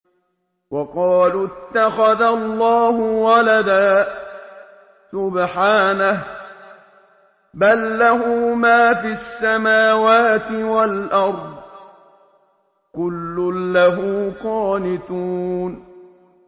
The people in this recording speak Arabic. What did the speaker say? وَقَالُوا اتَّخَذَ اللَّهُ وَلَدًا ۗ سُبْحَانَهُ ۖ بَل لَّهُ مَا فِي السَّمَاوَاتِ وَالْأَرْضِ ۖ كُلٌّ لَّهُ قَانِتُونَ